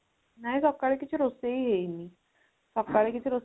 ନାଇଁ ସକାଳେ କିଛି ରୋଷେଇ ହେଇନି ସକାଳେ କିଛି